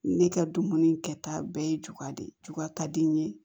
Ne ka dumuni kɛta bɛɛ ye juga de ye juba ka di n ye